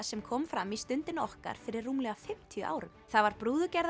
sem kom fram í Stundinni okkar fyrir rúmlega fimmtíu árum það var